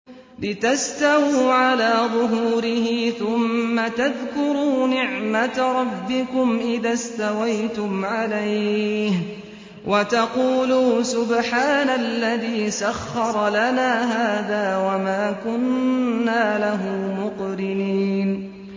لِتَسْتَوُوا عَلَىٰ ظُهُورِهِ ثُمَّ تَذْكُرُوا نِعْمَةَ رَبِّكُمْ إِذَا اسْتَوَيْتُمْ عَلَيْهِ وَتَقُولُوا سُبْحَانَ الَّذِي سَخَّرَ لَنَا هَٰذَا وَمَا كُنَّا لَهُ مُقْرِنِينَ